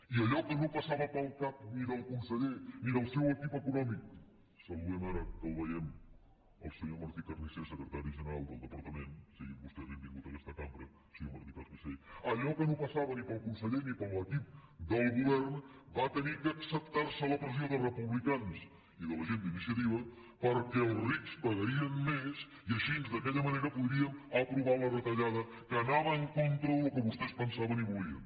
i allò que no passava pel cap ni del conseller ni de seu equip econòmic saludem ara que el veiem el senyor martí carnicer secretari general del departament sigui vostè benvingut a aquesta cambra senyor martí carnicer allò que no passava ni pel conseller ni per l’equip del govern va haver d’acceptar se a la pressió de republicans i de la gent d’iniciativa perquè ens rics pagarien més i així d’aquella manera podríem aprovar la retallada que anava en contra del que vostès pensaven i volien